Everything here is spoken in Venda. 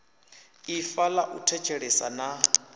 ifa ḽa u thetshelesa na